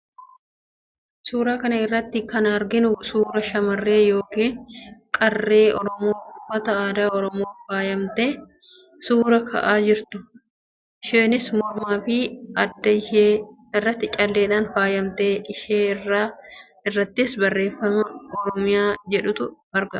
Suuraa kana irratti kan arginu suuraa shamarree yookiin qarree Oromoo uffata aadaa Oromoon faayamtee suuraa ka'aa jirtudha. Isheenis mormaa fi adda ishee irratti calleedhaan faayamteetti. Irree ishee irrattis barreeffama 'OROMIA' jedhutu argama.